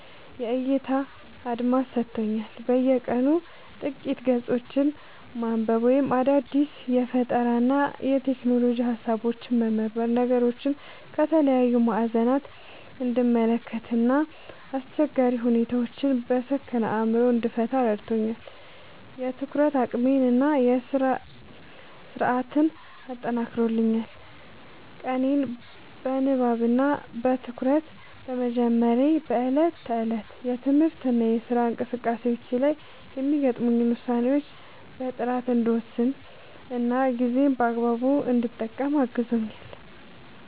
የዕይታ አድማስ ሰጥቶኛል፦ በየቀኑ ጥቂት ገጾችን ማንበብ ወይም አዳዲስ የፈጠራና የሎጂክ ሃሳቦችን መመርመር ነገሮችን ከተለያዩ ማዕዘናት እንድመለከት እና አስቸጋሪ ሁኔታዎችን በሰከነ አእምሮ እንድፈታ ረድቶኛል። የትኩረት አቅሜን እና ስነ-ስርዓቴን አጠናክሯል፦ ቀኔን በንባብ እና በትኩረት በመጀመሬ በዕለት ተዕለት የትምህርትና የሥራ እንቅስቃሴዎቼ ላይ የሚገጥሙኝን ውሳኔዎች በጥራት እንድወስንና ጊዜዬን በአግባቡ እንድጠቀም አግዞኛል።